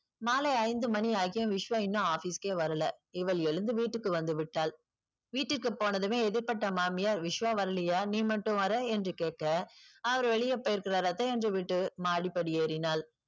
மாலை ஐந்து மணி ஆகியும் விஸ்வா இன்னும் office க்கே வரலை. இவள் எழுந்து வீட்டுக்கு வந்து விட்டாள். வீட்டிற்கு போனதுமே எதிர்ப்பட்ட மாமியார் விஸ்வா வரலையா நீ மட்டும் வர்ற என்று கேட்க அவர் வெளியே போயிருக்கிறார் அத்தை என்று விட்டு மாடிப்படி ஏறினாள்.